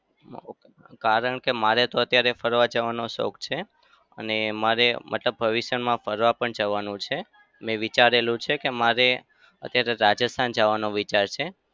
કારણ કે મારે તો અત્યારે ફરવા જવાનો શોખ છે. અને મારે મતલબ ભવિષ્યમાં ફરવા પણ જવાનું છે. મેં વિચારેલું છે મારે અત્યારે રાજસ્થાન જવાનો વિચાર છે.